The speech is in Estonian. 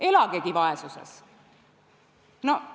Elagegi vaesuses!